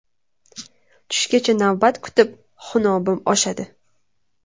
Tushgacha navbat kutib, xunobim oshadi.